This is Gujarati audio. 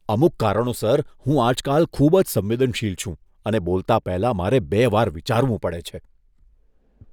અમુક કારણોસર, હું આજકાલ ખૂબ જ સંવેદનશીલ છું અને બોલતાં પહેલાં મારે બે વાર વિચારવું પડે છે.